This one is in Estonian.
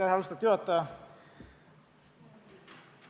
Austatud juhataja!